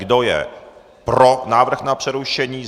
Kdo je pro návrh na přerušení?